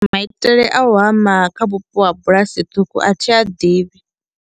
Maitele a u hama kha vhupo ha bulasi ṱhukhu a thi a ḓivhi.